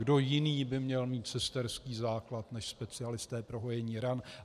Kdo jiný by měl mít sesterský základ než specialisté pro hojení ran?